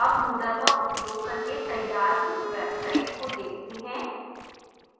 अब moodle का उपयोग करके तैयार कुछ websites को देखते हैं